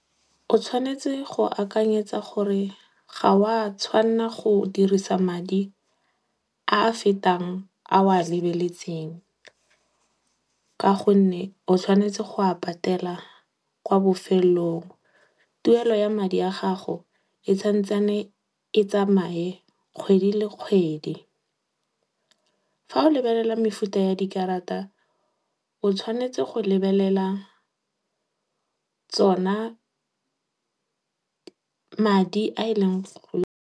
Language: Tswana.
O tshwanetse go akanyetsa gore ga o a tshwanela go dirisa madi a a fetang a o a lebeletseng. Ka gonne, o tshwanetse go a patela kwa bofelelong. Tuelo ya madi a gago e e tsamaye kgwedi le kgwedi. Fa o lebelela mefuta ya dikarata, o tshwanetse go lebelela tsona